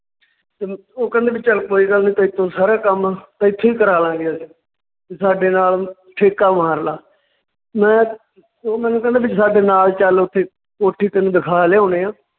ਤੇ ਉਹ ਕਹਿੰਦੇ ਵੀ ਚੱਲ ਕੋਈ ਗੱਲ ਨੀ ਤੇਰੇ ਤੋਂ ਸਾਰਾ ਕੰਮ ਇੱਥੋਂ ਹੀ ਕਰਾਲਾਗੇਂ ਅਸੀਂ, ਵੀ ਸਾਡੇ ਨਾਲ ਠੇਕਾ ਮਾਰਲਾ ਮੈਂ ਓਹ ਮੈਨੂੰ ਕਹਿੰਦੇ ਵੀ ਸਾਡੇ ਨਾਲ ਚੱਲ ਓਥੇ ਕੋਠੀ ਤੈਨੂੰ ਦਿਖਾ ਲਿਆਉਂਦੇ ਹਾਂ